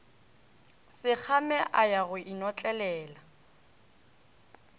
sekgame a ya go inotlelela